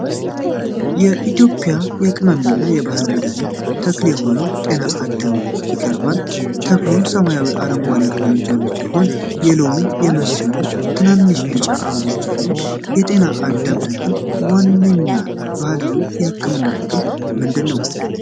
የኢትዮጵያ የቅመም እና የባህል መድኃኒት ተክል የሆነው "ጤና አዳም" ይቀርባል። ተክሉ ሰማያዊ አረንጓዴ ቅጠሎች ያሉት ሲሆን የሎሚ የመሰሉ ትናንሽ ቢጫ አበቦች አሉት። የጤና አዳም ተክል ዋነኛ ባህላዊ የሕክምና ጥቅሞች ምንድን ናቸው?